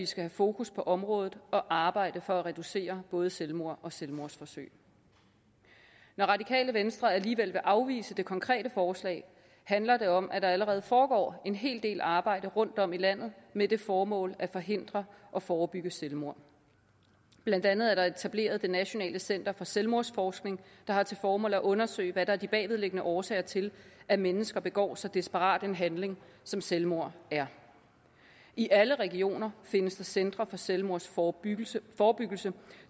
skal have fokus på området og arbejde for at reducere antallet både selvmord og selvmordsforsøg når radikale venstre alligevel vil afvise det konkrete forslag handler det om at der allerede foregår en hel del arbejde rundtom i landet med det formål at forhindre og forebygge selvmord blandt andet er der etableret det nationale center for selvmordsforskning der har til formål at undersøge hvad der er de bagvedliggende årsager til at mennesker begår så desperat en handling som selvmord er i alle regioner findes der centre for selvmordsforebyggelse